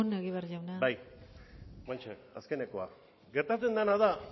amaitzen joan egibar jauna bai oraintxe bertan azkenekoa gertatzen dena da